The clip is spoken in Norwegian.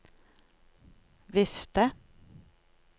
vifte